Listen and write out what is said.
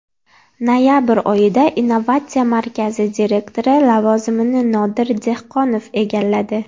Noyabr oyida innovatsiya markazi direktori lavozimini Nodir Dehqonov egalladi.